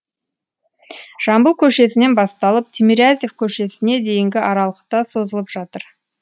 жамбыл көшесінен басталып тимирязев көшесіне дейінгі аралықта созылып жатыр